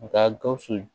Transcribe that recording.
U ka gawusu